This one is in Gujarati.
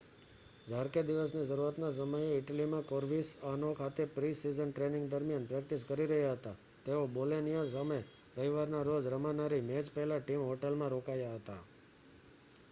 જાર્કે દિવસની શરૂઆતના સમયે ઇટલીમાં કોવર્સિઆનો ખાતે પ્રિ-સિઝન ટ્રેનિંગ દરમિયાન પ્રૅક્ટિસ કરી રહ્યા હતા તેઓ બોલોનિયા સામે રવિવારના રોજ રમાનારી મૅચ પહેલાં ટીમ હોટલમાં રોકાયા હતા